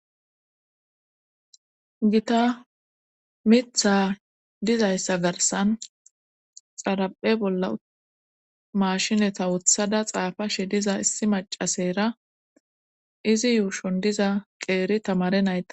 gita mitha dizayssa garsan xaraphe bolla mashineta wuthada xaafa shi diza issi macasera izi yuushon diza qeeri tamare naya